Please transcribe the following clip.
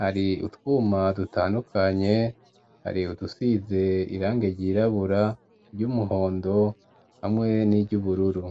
hari utwuma dutandukanye hari udusize irangi ryirabura ry'umuhondo hamwe n'iryubururu.